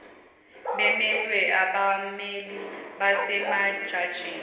bemelwe abammeli basemajajini